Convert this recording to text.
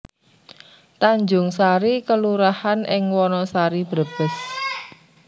Tanjungsari kelurahan ing Wanasari Brebes